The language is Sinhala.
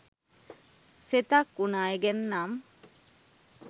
සෙතක් උන අය ගැන නම්